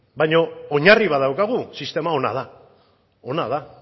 baina oinarri bat daukagu sistema ona da ona da